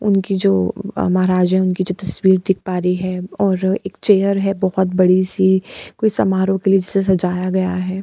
उनकी जो महाराज है उनकी जो तस्वीर दिख पा रही है और एक चेयर है बहुत बड़ी-सी कोई समारोह के लिए जिसे सजाया गया है।